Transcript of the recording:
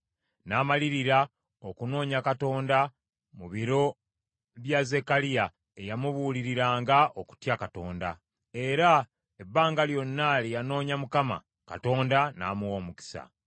N’amalirira okunoonya Katonda mu biro bya Zekkaliya eyamubuuliriranga okutya Katonda. Era ebbanga lyonna lye yanoonya Mukama , Katonda n’amuwa omukisa.